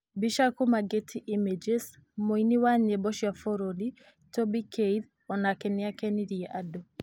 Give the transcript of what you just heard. Mbica kuuma Getty images, Mũini wa nyĩmbo cia bũrũri Toby Keith o nake nĩ aakenirie andũ